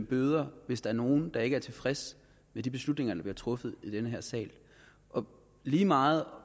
bøde hvis der er nogen der ikke er tilfreds med de beslutninger der bliver truffet i den her sal og lige meget